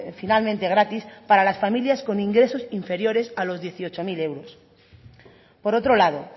finalmente gratis para las familias con ingresos inferiores a los dieciocho mil euros por otro lado